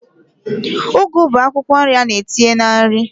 Ugu bụ akwụkwọ nri a na-etinye na nri